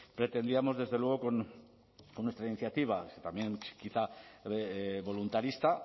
pretendíamos desde luego con nuestra iniciativa también quizá voluntarista